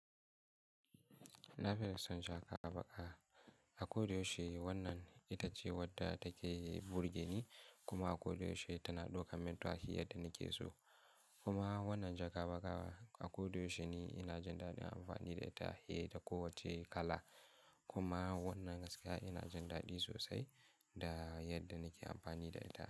Na fi son jaka baƙa. Akoda yaushe wannan itace wadda take burge ni kuma akoda yaushe tana ɗaukar mintaci yadda nake so. Kuma wannan jaka baƙa akoda yaushe ne ina jin daɗin amfani da ita, fiye da kowacce kala. Kuma wannan gaskiya ina jin daɗi sosai da yadda nake amfani da ita.